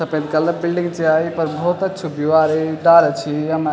सपेद colour building च या येपर भौत अच्छु वियु आरा है डाला छि येमा।